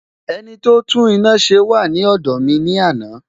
Ẹniti ó tún iná ṣe wà ní ọ̀dọ̀ mi ní àná